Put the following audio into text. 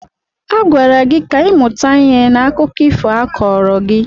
Agwara gị ka ị mụta ihe n'akụkọ ifo a kọọrọ gị!